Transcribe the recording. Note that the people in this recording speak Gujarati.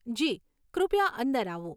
જી, કૃપયા અંદર આવો.